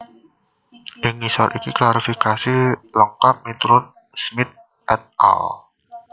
Ing ngisor iki klasifikasi lengkap miturut Smith et al